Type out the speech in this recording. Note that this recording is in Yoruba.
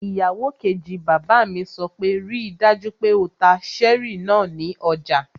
Ìyàwó kejì bàbá mi sọ pé 'ríi dájú pé o ta cherry náà ní ọjà!